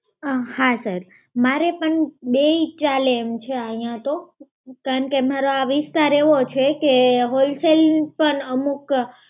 અ હા sir! મારે પણ બેઈ ચાલે એમ છે અહીંયા તો, કારણ કે મારા આ વિસ્તાર એવો છે કે wholesale પણ અમુક